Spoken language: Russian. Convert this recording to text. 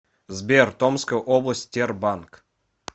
сбер томская область тербанк